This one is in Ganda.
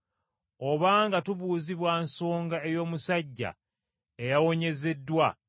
obanga tubuuzibwa nsonga ey’omusajja eyawonyezeddwa,